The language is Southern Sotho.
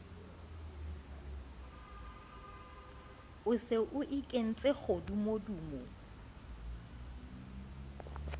o se o ikentse kgodumodumo